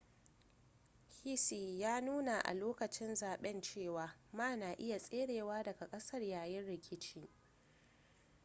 hsieh ya yi nuni a lokacin zaben cewa ma na iya tserewa daga kasar yayin rikici